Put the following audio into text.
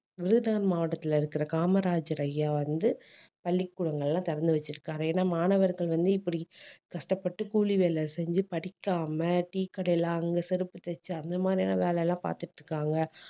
விருதுநகர் மாவட்டத்துல இருக்கிற காமராஜர் ஐயா வந்து பள்ளிக்கூடங்கள் எல்லாம் திறந்து வச்சிருக்காரு ஏன்னா மாணவர்கள் வந்து இப்படி கஷ்டப்பட்டு கூலி வேலை செஞ்சு படிக்காம tea கடையில அங்க செருப்பு தைச்சு அந்த மாதிரியான வேலை எல்லாம் பார்த்துட்டு இருக்காங்க